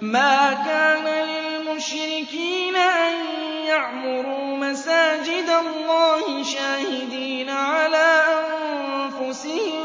مَا كَانَ لِلْمُشْرِكِينَ أَن يَعْمُرُوا مَسَاجِدَ اللَّهِ شَاهِدِينَ عَلَىٰ أَنفُسِهِم